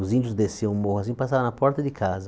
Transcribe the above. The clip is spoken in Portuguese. Os índios desciam o morro assim e passavam na porta de casa.